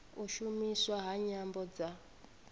u shumiswa ha nyambo dza